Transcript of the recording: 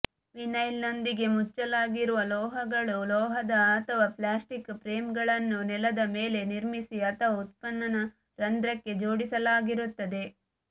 ವಿನೈಲ್ನೊಂದಿಗೆ ಮುಚ್ಚಲಾಗಿರುವ ಲೋಹಗಳು ಲೋಹದ ಅಥವಾ ಪ್ಲಾಸ್ಟಿಕ್ ಫ್ರೇಮ್ಗಳನ್ನು ನೆಲದ ಮೇಲೆ ನಿರ್ಮಿಸಿ ಅಥವಾ ಉತ್ಖನನ ರಂಧ್ರಕ್ಕೆ ಜೋಡಿಸಲಾಗಿರುತ್ತದೆ